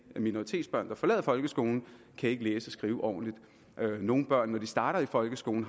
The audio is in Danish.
minoritetsbørn der forlader folkeskolen ikke læse og skrive ordentligt nogle børn har når de starter i folkeskolen